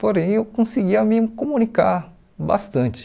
Porém, eu conseguia me comunicar bastante.